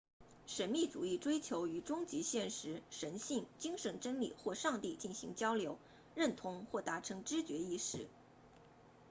神秘主义追求与终极现实神性精神真理或上帝进行交流认同或达成知觉意识